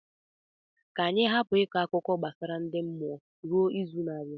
Ka anyị hapụ ịkọ akụkọ ifo gbasara ndi mmụọ ruo izu na-abịa.